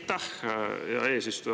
Aitäh, hea eesistuja!